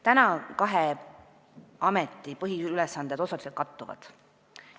Praegu kahe ameti põhiülesanded osaliselt kattuvad.